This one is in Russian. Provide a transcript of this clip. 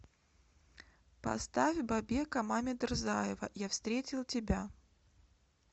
поставь бабека мамедрзаева я встретил тебя